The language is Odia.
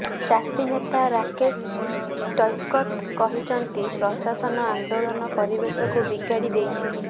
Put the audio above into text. ଚାଷୀ ନେତା ରାକେଶ ଟିକୈତ କହିଛନ୍ତି ପ୍ରଶାସନ ଆନ୍ଦୋଳନ ପରିବେଶକୁ ବିଗାଡି ଦେଇଛି